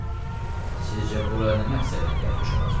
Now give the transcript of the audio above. Sizcə bura nə məqsədlə gəlmiş olar?